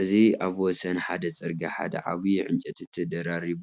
እዚ ኣብ ወሰን ሓደ ጽርግያ ሓደ ዓቢይ ዕንጨይቲ ተደራሪቡ